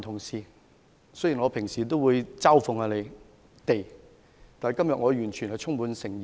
雖然我平時也會嘲諷他們，但我今天是充滿誠意的。